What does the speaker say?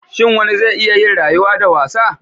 Shin wani zai iya yin rayuwa da wasa?